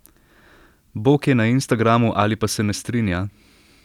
Bog je na instagramu ali pa se ne strinja?